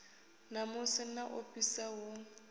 namusi na u ofhisa hu